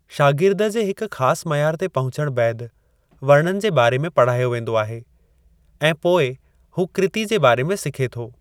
शागिर्द जे हिकु ख़ासि मयार ते पहुचण बैदि, वर्णनि जे बारे में पढ़ायो वेंदो आहे ऐं पोइ हू कृति जे बारे में सिखे थो।